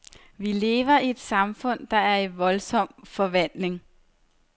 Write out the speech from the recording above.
Vi lever i et samfund, der er i voldsom forvandling.